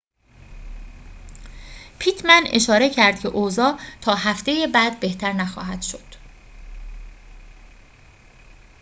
پیتمن اشاره کرد که اوضاع تا هفته بعد بهتر نخواهد شد